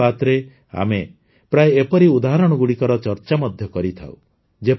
ମନ କୀ ବାତ୍ରେ ଆମେ ପ୍ରାୟ ଏପରି ଉଦାହରଣଗୁଡ଼ିକର ଚର୍ଚା ମଧ୍ୟ କରିଥାଉ